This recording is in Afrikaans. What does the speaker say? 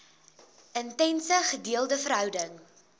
intense gedeelde verhouding